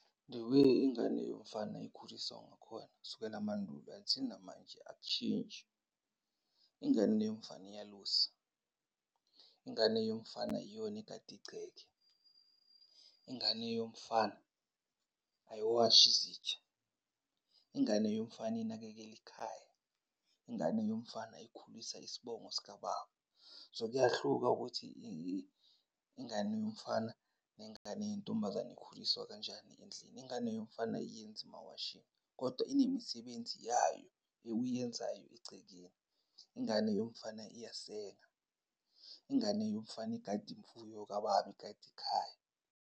The way ingane yomfana ikhuliswa ngakhona kusukela amandulo until namanje akutshintshi. Ingane yomfana iyalusa, ingane yomfana iyona egada igceke, ingane yomfana ayiwashi izitsha, ingane yomfana inakekela ikhaya, ingane yomfana ikhulisa isibongo sikababa. So, kuyahluka ukuthi ingane yomfana nengane yentombazane ikhuliswa kanjani endlini. Ingane yomfana ayenzi mawashingi, kodwa inemisebenzi yayo ewuyenzayo egcekeni. Ingane yomfana iyasenga, ingane yomfana igada imfuyo kababa, igada ikhaya.